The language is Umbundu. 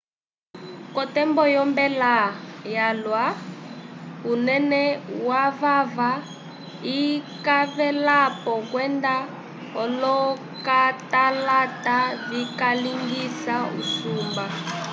k’otembo yombela yalwa osãyi yekwĩ lamoi kwenda osãyi yatatu unene wovava ikavelapo kwenda olokatalata vikalingisa usumba